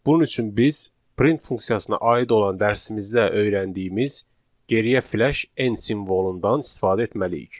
Bunun üçün biz print funksiyasına aid olan dərsimizdə öyrəndiyimiz geriyə flaş n simvolundan istifadə etməliyik.